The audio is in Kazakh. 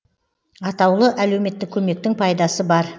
атаулы әлеуметтік көмектің пайдасы бар